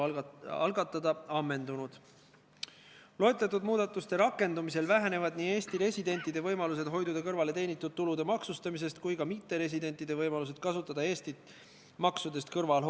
Esmaspäevasele majanduskomisjoni istungile tulid Majandus- ja Kommunikatsiooniministeeriumi ettepanekul kiireloomulised raudteeseaduse muutmise ettepanekud, mis poogiti selle igati õige seaduseelnõu külge.